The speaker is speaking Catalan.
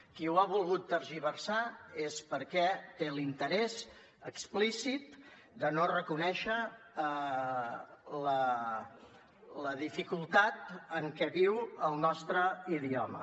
qui ho ha volgut tergiversar és perquè té l’interès explícit de no reconèixer la dificultat en què viu el nostre idioma